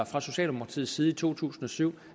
fra socialdemokratiets side i to tusind og syv